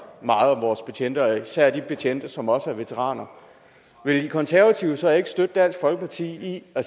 meget om vores betjente og især de betjente som også er veteraner vil de konservative så ikke støtte dansk folkeparti i at